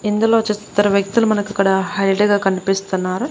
ఇందులో చూస్తున్న ఇద్దరు వ్యక్తులు మనకు ఇక్కడ హైల్డ్ గా కనిపిస్తున్నారు.